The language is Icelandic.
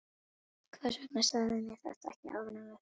Hvers vegna sagðirðu mér þetta ekki áður en við fórum?